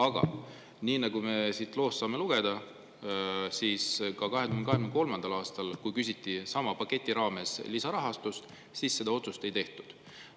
Aga nii nagu me siit loost saame lugeda, siis 2023. aastal, kui küsiti sama paketi raames lisarahastust, seda otsust ei tehtud.